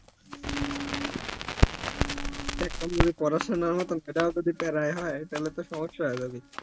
এখন যদি পড়াশোনার মতো এটাও যদি প্যারায় হয়ই তালে তো সমস্যা হবে